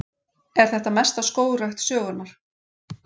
Er þetta mesta skógrækt sögunnar